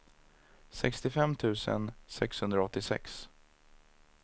sextiofem tusen sexhundraåttiosex